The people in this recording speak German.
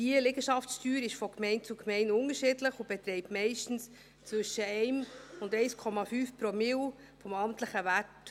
Die Liegenschaftssteuer ist von Gemeinde zu Gemeinde unterschiedlich und beträgt meistens zwischen 1 und 1,5 Promille des amtlichen Werts.